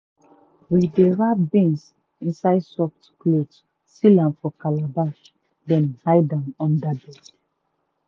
we dey wrap beans inside soft cloth seal am for calabash then hide am under bed.